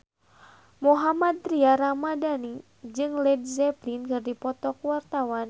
Mohammad Tria Ramadhani jeung Led Zeppelin keur dipoto ku wartawan